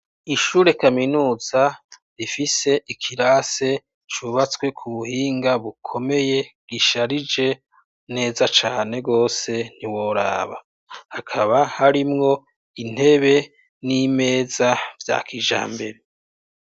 Ishure kaminuza, rifise, Ikirase cubatswe ,kubuhinga bukomeye, gisharije neza cane gose ,ntiworaba. Hakaba ,harimwo ,Intebe, n'Imeza za kijambere.